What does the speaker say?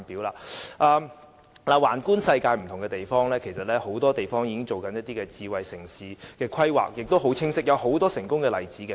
綜觀世界不同的地方，其實很多地方已經進行很清晰的智慧城市的規劃，亦有很多成功的例子。